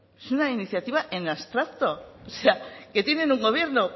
es una iniciativa en abstracto o sea que tienen un gobierno